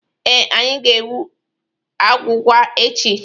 Ee, anyị ga-egwu agwụgwa echi.